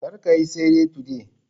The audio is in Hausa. Kar kayi tsere today